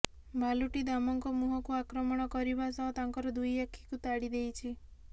ଭାଲୁଟି ଦାମଙ୍କ ମୁହଁକୁ ଆକ୍ରମଣ କରିବା ସହ ତାଙ୍କର ଦୁଇ ଆଖିକୁ ତାଡି ଦେଇଛି